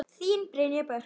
Þín Brynja Björk.